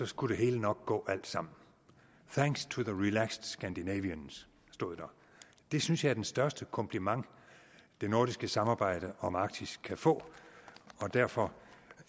skulle det hele nok gå alt sammen thanks to the relaxed scandinavians stod der det synes jeg er den største kompliment det nordiske samarbejde om arktis kan få og derfor